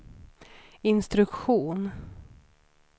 instruktion